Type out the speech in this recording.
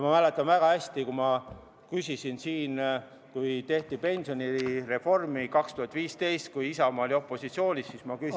Ma mäletan väga hästi, et kui tehti pensionireformi 2015. aastal, kui Isamaa oli opositsioonis, siis ma küsisin ...